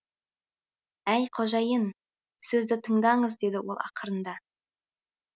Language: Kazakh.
әй қожайын сөзді тыңдаңыз деді ол ақырында